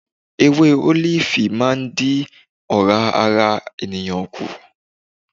Ewé ólífì máa ń dín ora ara ènìyàn kù.